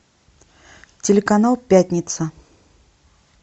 телеканал пятница